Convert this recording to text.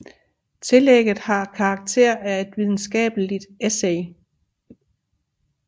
Tillægget har karakter af et videnskabeligt essay